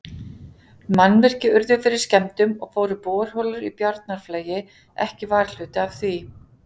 Mannvirki urðu fyrir skemmdum, og fóru borholur í Bjarnarflagi ekki varhluta af því.